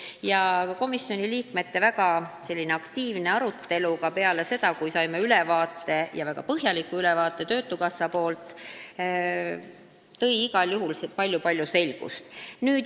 Väga aktiivne komisjoni liikmete arutelu ka peale seda, kui olime saanud väga põhjaliku ülevaate töötukassa esindajailt, tõi igal juhul palju-palju selgust.